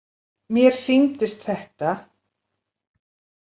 Mér sýndist þetta.